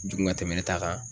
Jugu ka tɛmɛ ne ta kan